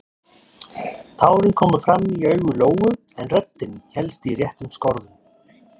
Tárin komu fram í augu Lóu en röddin hélst í réttum skorðum.